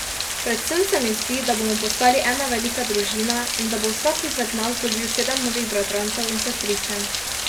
Predvsem se mi zdi, da bomo postali ena velika družina in da bo vsak izmed nas dobil sedem novih bratrancev in sestričen.